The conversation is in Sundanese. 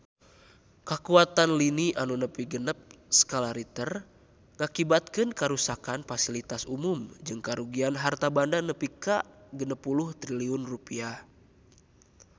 Kakuatan lini nu nepi genep skala Richter ngakibatkeun karuksakan pasilitas umum jeung karugian harta banda nepi ka 60 triliun rupiah